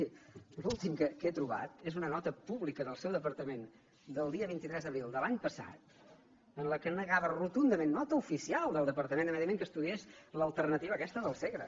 miri l’últim que he trobat és una nota pública del seu departament del dia vint tres d’abril de l’any passat en què negava rotundament nota oficial del departament de medi ambient que estudiés l’alternativa aquesta del segre